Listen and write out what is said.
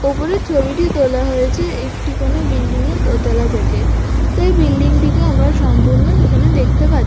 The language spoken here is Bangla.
ওপরে ছবিটি তোলা হয়েছে একটি কোনো বিল্ডিং এর দোতলা থেকে তাই বিল্ডিং টিকে আমরা সম্পূর্ণ এখানে দেখতে পা--